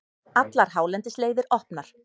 Allar hálendisleiðir opnar